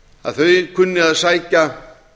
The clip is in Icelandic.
að þau kunni að sækja